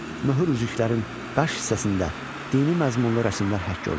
Möhür üzüklərin qaş hissəsində dini məzmunlu rəsmlər həkk olunurdu.